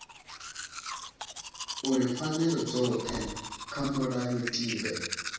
uri pfanelo dzothe kha mulayotibe